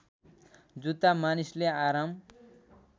जुत्ता मानिसले आराम